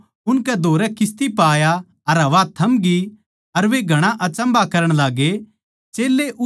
फेर वो उनकै धोरै किस्ती पै आया अर हवा थमगी अर वे घणा अचम्भा करण लाग्गे